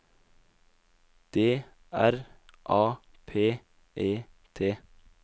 D R A P E T